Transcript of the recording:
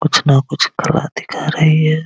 कुछ ना कुछ कला दिखा रही है ।